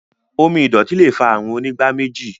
omí ìdòtí lẹ fà Àrùn Onígbáméjì.